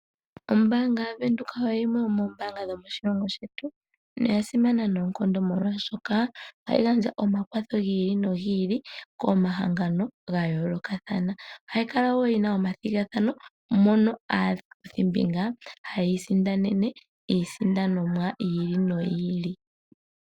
Ombaanga yaVenduka oyimwe yomoombaanga dhomoshilongo shetu noya simana noonkondo molwashoka ohayi gandja omakwatho gi ili nogi ili komahangano ga yoolokathana. Ohayi kala wo yina omathigathano mono aakuthimbinga haya isindanene iisindanomwa yi ili noyi ili.